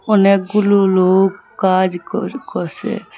অনেকগুলো লোক কাজ কর করসে।